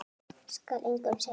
Skal engum segja.